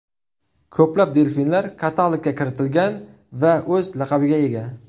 Ko‘plab delfinlar katalogga kiritilgan va o‘z laqabiga ega.